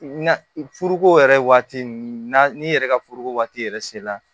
Na foroko yɛrɛ waati ninnu na ni yɛrɛ ka foroko waati yɛrɛ se la